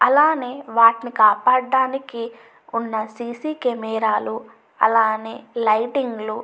అలానే వాటిని కాపాడడానికి ఉన్న సీసీ కెమెరాలు అలానే లైటింగ్లు --